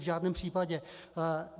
V žádném případě.